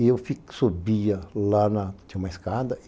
E eu subia lá na... Tinha uma escada.